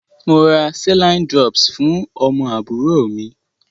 Mo ra Saline drops fún ọmọ àbúrò mi.